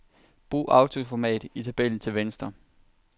Brug autoformat i tabellen til venstre.